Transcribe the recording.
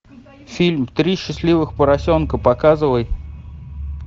фильм три счастливых поросенка показывай